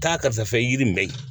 Taa karisa fɛ yiri mɛ